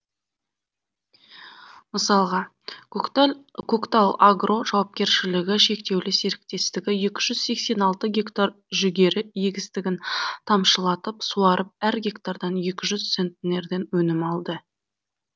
мысалға көктал агро жауапкершілігі шектеулі серіктестігі екі жүз сексен алты гектар жүгері егістігін тамшылатып суарып әр гектардан екі жүз центнерден өнім алды